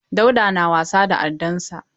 Dauda na wasa addar sa.